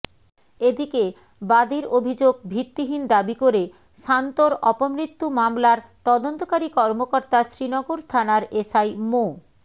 এদিকে বাদীর অভিযোগ ভিত্তিহীন দাবি করে শান্তর অপমৃত্যু মামলার তদন্তকারী কর্মকর্তা শ্রীনগর থানার এসআই মো